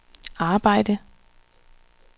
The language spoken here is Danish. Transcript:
arbejde